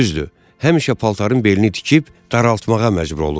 Düzdür, həmişə paltarın belini tikib daraltmağa məcbur olurdu.